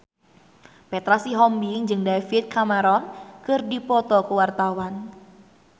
Petra Sihombing jeung David Cameron keur dipoto ku wartawan